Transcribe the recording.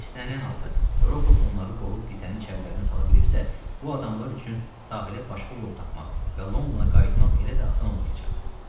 İstənilən halda Rokov onları qovub qitenin içərilərinə sala bilibsə, bu adamiyənlər üçün sahilə başqa yol tapmaq və Londona qayıtmaq elə də asan olmayacaq.